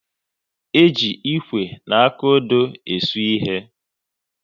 E ji Ịkwe na akụodo e su ịhe